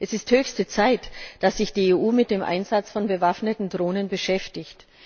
Es ist höchste Zeit, dass sich die EU mit dem Einsatz von bewaffneten Drohnen beschäftigt.